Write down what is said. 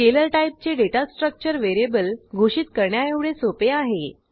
scalar टाईपचे data structure variable घोषित करण्याएवढे सोपे आहे